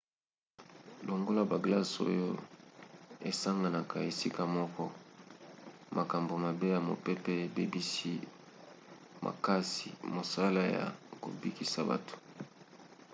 longola baglace oyo esanganaka esika moko makambo mabe ya mopepe ebebisi makasi mosala ya kobikisa bato